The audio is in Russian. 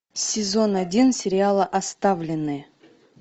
сезон один сериала оставленные